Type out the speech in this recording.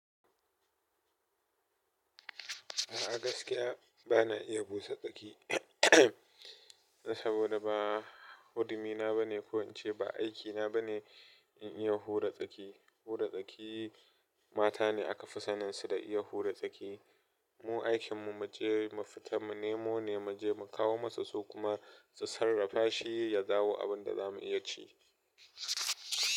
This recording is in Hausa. A gaskiya bana iya busa tsaki saboda ba hurumi na ba ne ko in ce ba aiki na ba ne in iya hura tsaki. Hura tsaki mata ne aka fi sanin su da iya hura tsaki. Mu aikin mu mu je mu fita mu nemo ne, mu je mu kawo masu su kuma su sarrafa shi ya dawo abin da za mu iya ci.